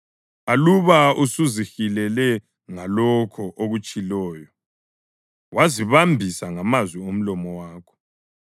aluba usuzihilele ngalokho okutshiloyo, wazibambisa ngamazwi omlomo wakho,